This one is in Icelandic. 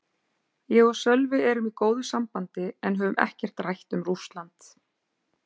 Ég og Sölvi erum í góðu sambandi en höfum ekkert rætt um Rússland.